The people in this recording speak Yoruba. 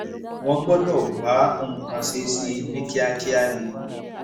wọn gbọdọ wá nǹkan ṣe sí i ní kíákíá ni